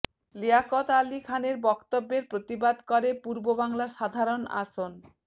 লিয়াকত আলী খানের বক্তব্যের প্রতিবাদ করে পূর্ববাংলার সাধারণ আসন